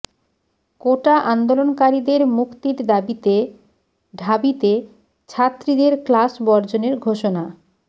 কোটা আন্দোলনকারীদের মুক্তির দাবিতে ঢাবিতে ছাত্রীদের ক্লাস বর্জনের ঘোষণা